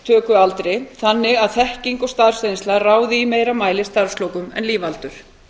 og lífeyristökualdri þannig að þekking og starfsreynsla ráði í meira mæli starfslokum en lífaldur